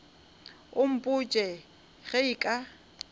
o mpotše ge e ka